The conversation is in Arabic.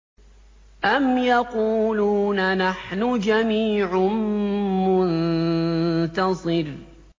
أَمْ يَقُولُونَ نَحْنُ جَمِيعٌ مُّنتَصِرٌ